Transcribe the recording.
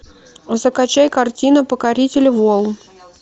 закачай картину покоритель волн